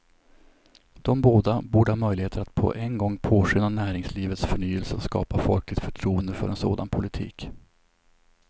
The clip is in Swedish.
De båda borde ha möjligheter att på en gång påskynda näringslivets förnyelse och skapa folkligt förtroende för en sådan politik.